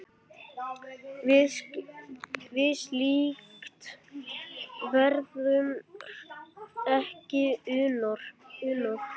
Við slíkt verður ekki unað.